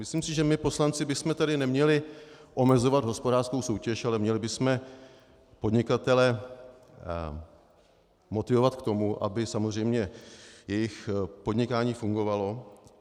Myslím si, že my poslanci bychom tady neměli omezovat hospodářskou soutěž, ale měli bychom podnikatele motivovat k tomu, aby samozřejmě jejich podnikání fungovalo.